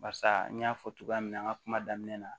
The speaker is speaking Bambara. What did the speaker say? Barisa n y'a fɔ cogoya min na an ka kuma daminɛ na